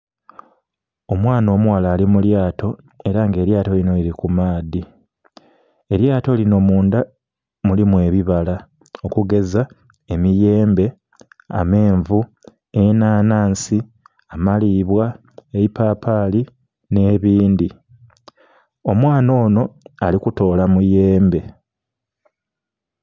Omwana omughala ali mulyato era nga elyato linho lili ku maadhi, elyato linho mundha mulimu ebibala okugeza emiyembe, amenvu, enanhansi, amakinha, eipapali nhe bindhi omwana onho ali kutola muyembe.